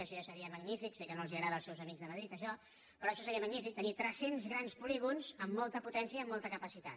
això ja seria magnífic sé que no els agrada als seus amics de madrid això però això seria magnífic tenir tres cents grans polígons amb molta potència i amb molta capacitat